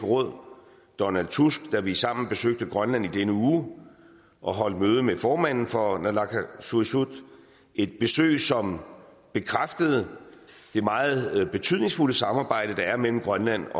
råd donald tusk da vi sammen besøgte grønland i denne uge og holdt møde med formanden for naalakkersuisut et besøg som bekræftede det meget betydningsfulde samarbejde der er mellem grønland